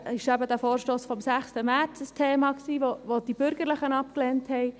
So enthielt der Vorstoss vom 6. März ein Thema, das die Bürgerlichen abgelehnten.